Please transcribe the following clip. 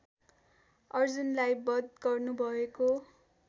अर्जुनलाई बध गर्नुभएको